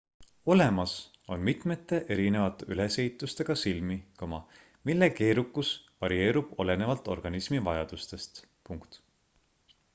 olemas on mitmete erinevate ülesehitustega silmi mille keerukus varieerub olenevalt organismi vajadustest